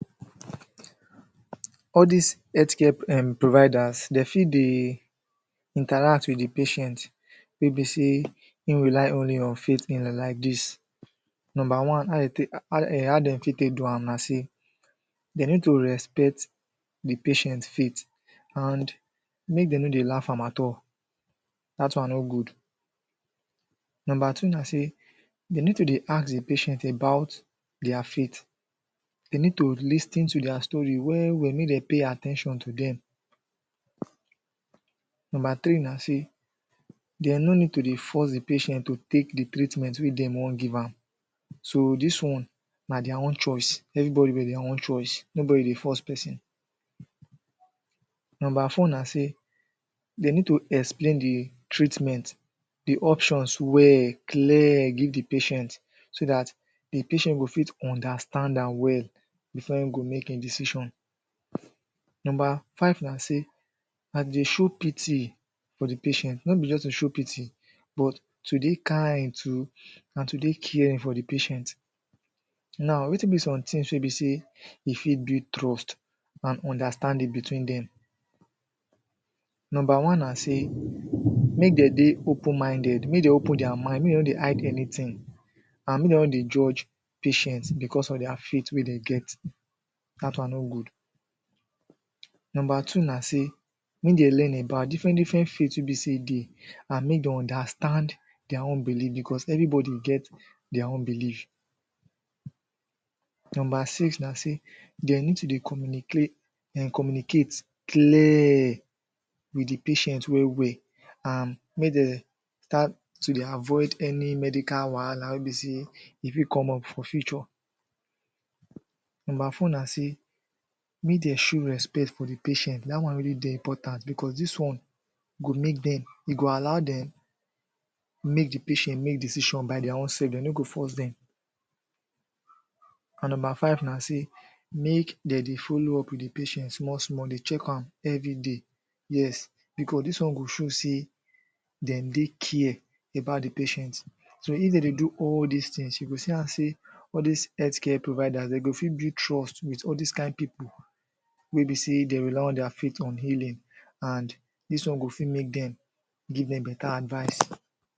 All this healthcare um providers dem fit dey interact with the patient wey be sey im rely only on faith like dis number one, ah dey take um how dey fit take do wam na sey de need to respect the patient faith and make dem no they laugh am at all that one no good number two na sey dey need to dey ask the patient about their faith they need to lis ten to their story well well me dem pay at ten tion to dem number three na sey dem no need to dey force the patient to take the treatment wey dey wan givam so this one na dia own choice every body with dia own choice, no body dey force person number four na sey they need to explain the treatment the options well clear give the patient so dat the patient go fit understan dam well before im go make im decision number five na sey na de show pity for the patient, no be just to show pity but to dey kind too na to dey care for the patient now, wey tin be somethings wey be sey e fit build trust and understanding between dem number one na sey make dem dey open minded, make dem open their mind, make dem no dey hide anything and make dem no dey judge patient because of their faith wey dey get dat one no good number two na sey make dey learn about diffrent, different faith wey be sey dey and mey dey understand their own believe because every body get their own belief number six na sey dem need to dey communicla um communicate clear wit de patient well well and me dem try to de avoid any medical wahala wey be sey e fit come up for future number four na sey mey dem show respect for the patient dat one really dey important because this one go make dem e go allow dem make the patient make decision by their own self dem no go force dem and number five na sey make dem dey follow up the patient small small dey checkam everyday yes because dis one go show sey de dey care about the patient so, if de dey do all dis things you go see yan sey all dis healthcare provider de go fit build trust wit all dis kind people wey be sey de rely all their faith on healing and dis one go fit make dem give dem beta advice